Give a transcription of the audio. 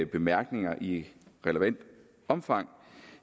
bemærkninger i relevant omfang